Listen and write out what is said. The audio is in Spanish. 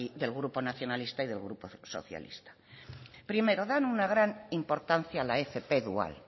del grupo nacionalista y del grupo socialista primero dan una gran importancia a la fp dual